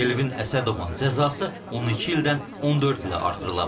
Elvin Əsədovun cəzası 12 ildən 14 ilə artırılıb.